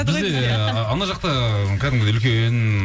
бізде ана жақта кәдімгідей үлкен